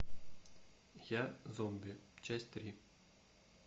я зомби часть три